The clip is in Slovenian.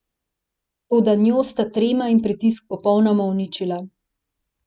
Toda njo sta trema in pritisk popolnoma uničila.